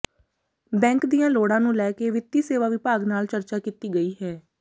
bank ਦੀਆਂ ਲੋੜਾਂ ਨੂੰ ਲੈ ਕੇ ਵਿੱਤੀ ਸੇਵਾ ਵਿਭਾਗ ਨਾਲ ਚਰਚਾ ਕੀਤੀ ਗਈ ਹੈ